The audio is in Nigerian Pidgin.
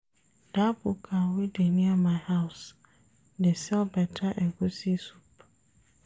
Dat buka wey dey near my house dey sell beta egusi soup.